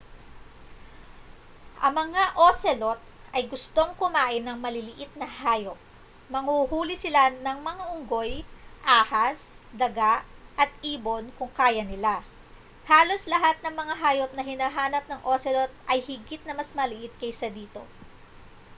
ang mga ocelot ay gustong kumain ng maliliit na hayop manghuhuli sila ng mga unggoy ahas daga at ibon kung kaya nila halos lahat ng mga hayop na hinahanap ng ocelot ay higit na mas maliit kaysa dito